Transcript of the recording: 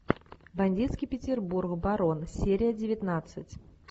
бандитский петербург барон серия девятнадцать